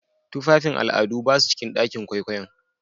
Tufafin al'adu ba su cikin ɗakin kwaikwayon.